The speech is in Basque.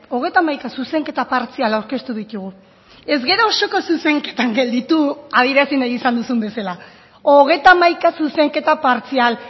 hogeita hamaika zuzenketa partzial aurkeztu ditugu ez gara osoko zuzenketan gelditu adierazi nahi izan duzun bezala hogeita hamaika zuzenketa partzial